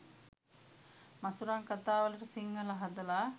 මසුරං කතාවලට සිංහල හදල